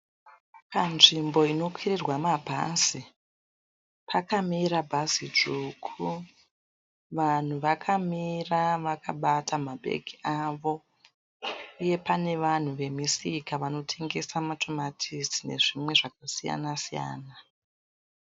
Panzvimbo inokwirirwa mabhazi pakamira bhazi dzvuku. Vanhu vakamira vakabata mabhegi avo uye pane vanhu vemisika vanotengesa matomatisi nezvimwe zvakasiyana siyana.